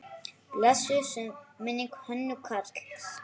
Blessuð sé minning Hönnu Karls.